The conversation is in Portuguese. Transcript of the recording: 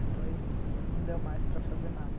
Depois não deu mais para fazer nada.